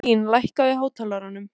Blín, lækkaðu í hátalaranum.